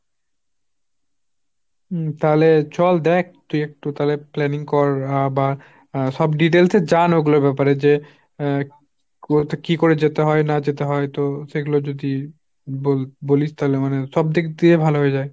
হুঁ তালে চল দেখ তুই একটু তালে planning কর আবার সব details এ জান ওগুলোর ব্যাপারে যে হাঁ বল~ কি করে যেতে হয় না যেতে হয় তো সেগুলো যদি ব~ বলিস তালে মানে সবদিক দিয়ে ভাল হয়ে যায়।